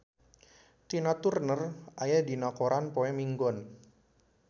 Tina Turner aya dina koran poe Minggon